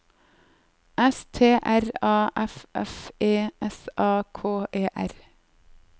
S T R A F F E S A K E R